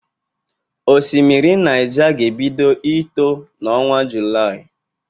Osimiri Naịja ga-ebido ito n'ọnwa Julaị.